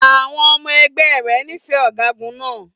Àwọn ọmọ ẹgbẹ́ rẹ̀ nífẹ̀ẹ́ ọ̀gágun náà.